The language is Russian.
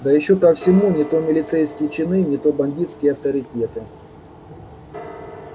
да ещё ко всему не то милицейские чины не то бандитские авторитеты